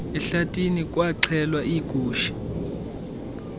ehlathini kwaxhelwa iigusha